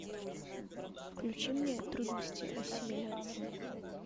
включи мне трудности ассимиляции